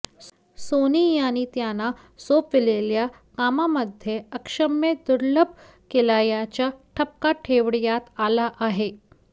Sony यांनी त्यांना सोपविलेल्या कामांमध्ये अक्षम्य दुर्लक्ष केल्याचा ठपका ठेवण्यात आला आहे